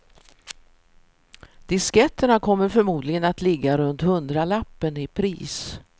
Disketterna kommer förmodligen att ligga runt hundralappen i pris.